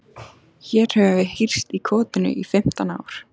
Hér höfum við hírst í kotinu í fimmtán ár.